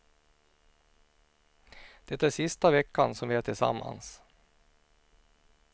Det är sista veckan som vi är tillsammans.